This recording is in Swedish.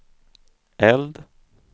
eld